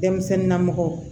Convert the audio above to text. Denmisɛnnin namɔgɔ